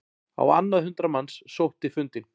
Á annað hundrað manns sótti fundinn